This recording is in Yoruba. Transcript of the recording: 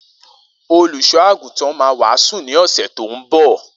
Olusọagútàn mà wàsú ni ọsẹ tọ ḿbọ.